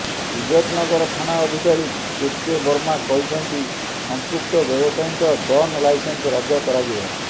ଇଜ୍ଜତନଗର ଥାନା ଅଧିକାରୀ କେକେ ବର୍ମା କହିଛନ୍ତି ସଂପୃକ୍ତ ବ୍ୟବସାୟୀଙ୍କ ଗନ୍ ଲାଇସେନ୍ସ ରଦ୍ଦ କରାଯିବ